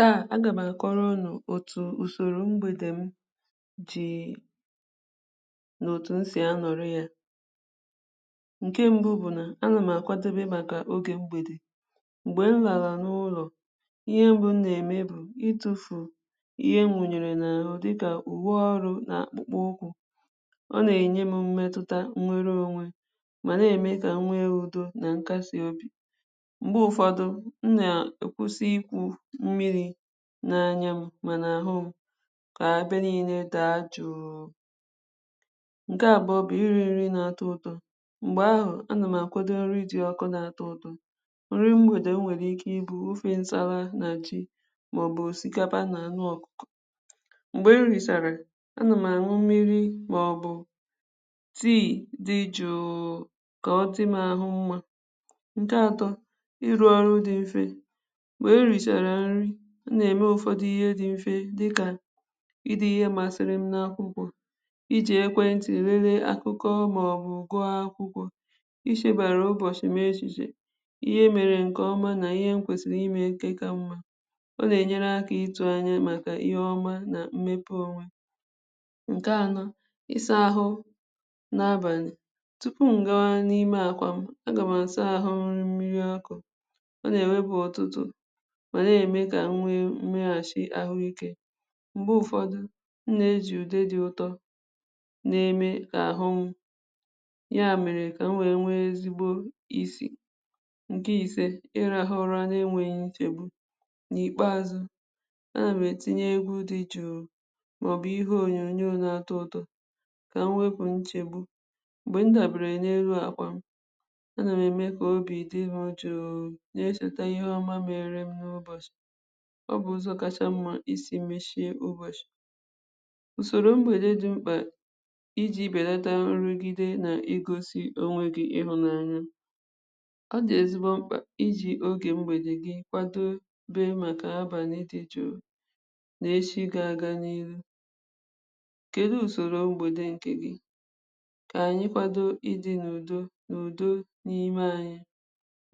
Taa, a ga ma akọrọ̀ unù otù usorò mgbede m dii n’otù m si a nọrị̀ yà nke mbụ̀ bụ̀ nà a na m akwadebe makà oge mgbedè mgbe m larà n’ụlọ̀ ihe mbụ̀ mụ na-eme itufù ihe m wunyere n’arụ̀ dịkà uwe ọrụ̀ na akpụkpọ ụkwụ̀ ọ na-enye m mmetutà nnwere onwe ma na-eme ka m nwe udo na nkasị obì mgbe ụfọdụ̀ mụ na-ekwusi ikwù mmiri n’anya m mana ahụ̀ m ka ebe niine daa juū nke abụọ̀ bụ̀ iri nri na-atọ̀ ụtọ̀ mgbe ahụ̀ a na m akwado nri dị ọkụ̀ na-atọ nri mgbede o nwere ike ịbụ̀ ofe nsarà na ji maọ̀bụ̀ osikapà na anụ̀ ọkụkọ̀ mgbe m risarà a na m an̄ụ̀ mmiri maọ̀bụ̀ tea dị̀ jụụ̀ ka ọ dị̀ m ahụ̀ mma nke atọ̀ ịrụ̀ ọrụ̀ dị̀ mfè mgbe erisarà nrì mụ na-eme ụfọdụ̀ ihe dị̀ mfe dịkà ide ihe masịrị m n’akwụkwọ̀ iji ekwentị̀ lele akụkọ̀ maọ̀bụ̀ gụọ akwụkwọ̀ ichebere ụbọchị m echiche ihe e mere nke ọmà na ihe m kwesiri ime nke ka mma ọ na-enyere akà itụ̀ anya makà ihe ọmà na mmepe o nke anọ̀ ịsa ahụ̀ n’abanị̀ tupu m gawà n’ime àkwà m a ga m asa ahụ̀ mmiri ọkụ̀ ọ na-ewepù ọtụtụ̀ ma na-eme ka m nwe mmeghachì ahụike mgbe ụfọdụ̀ mụ na-eji ude dị ụtọ̀ na-eme ka ahụ m ya mere ka m wee nwe ezigbo isì nke ise ịrahụ̀ ụrà na-enweghi nchegbù n’ikpeazụ̀ a na m etinye egwu dị̀ jụụ̀ maọ̀bụ̀ ihe onyonyò na-atụ ụtọ̀ ka m wepù nchegbù mgbe m dabere n’elu àkwà m a na m eme ka obi dị m jụụ̀ na-echetà ihe ọmà mere mụọ ọ bụ ụzọ̀ kachà mma isi mechie owenụ̀ usoro mgbede dị̀ m̄kpà iji belatà nrugide na igosi onwe gi ịhụnanyà ọ dị̀ ezigbo m̄kpà iji oge mgbede gi kwado bē makà abanị ịdị̀ jụụ̀ n’echi ga aga n’ihu kedu usoro mgbede nke gi? Ka anyị̀ kwado ịdị̀ n’udo udo n’ime anyị̀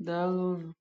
daalụnụ̀!